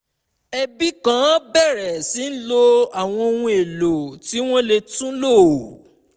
ẹbi kan bẹ̀rẹ̀ sí lo àwọn ohun èlò tí wọ́n lè tún lò